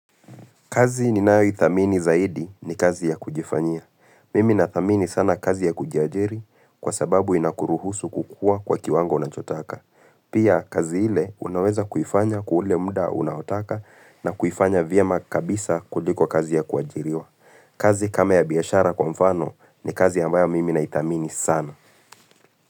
Kazi ninayoithamini zaidi ni kazi ya kujifanyia. Mimi nathamini sana kazi ya kujiajiri kwa sababu inakuruhusu kukua kwa kiwango unachotaka. Pia kazi ile unaweza kuifanya kwa ule muda unaotaka na kuifanya vyema kabisa kuliko kazi ya kuajiriwa. Kazi kama ya biashara kwa mfano ni kazi ambayo mimi naithamini sana.